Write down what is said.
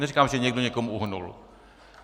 Neříkám, že někdo někomu uhnul.